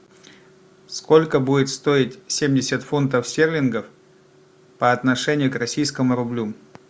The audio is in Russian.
сколько будет стоить семьдесят фунтов стерлингов по отношению к российскому рублю